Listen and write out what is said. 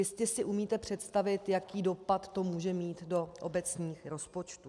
Jistě si umíte představit, jaký dopad to může mít do obecních rozpočtů.